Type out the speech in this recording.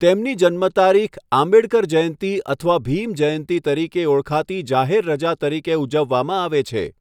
તેમની જન્મતારીખ આંબેડકર જયંતી અથવા ભીમ જયંતી તરીકે ઓળખાતી જાહેર રજા તરીકે ઉજવવામાં આવે છે.